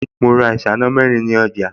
Mo ra ìṣáná mẹ́rin ní ọjà